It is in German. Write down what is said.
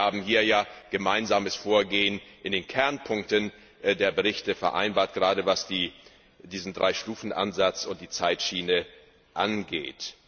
Wir haben hier ja ein gemeinsames Vorgehen in den Kernpunkten der Berichte vereinbart, gerade was den Dreistufenansatz und die Zeitschiene angeht.